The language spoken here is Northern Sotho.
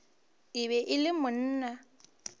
e be e le monna